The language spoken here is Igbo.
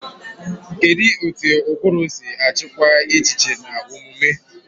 Kedu ka ụbụrụ si achịkwa echiche na omume?